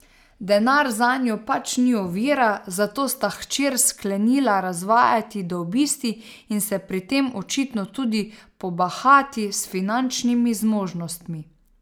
Denar zanju pač ni ovira, zato sta hčer sklenila razvajati do obisti in se pri tem očitno tudi pobahati s finančnimi zmožnostmi.